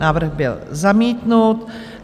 Návrh byl zamítnut.